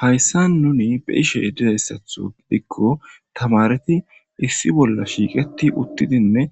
Haysan nuni bei'she didaysato gidiko tamareti issi issi bolla shiqeti uttidinne